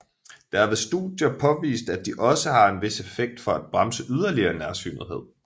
Der er ved studier påvist at de også har en vis effekt for at bremse yderligere nærsynethed